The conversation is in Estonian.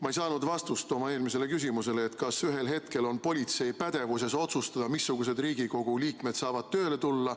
Ma ei saanud vastust oma eelmisele küsimusele, kas ühel hetkel on politsei pädevuses otsustada, missugused Riigikogu liikmed saavad tööle tulla.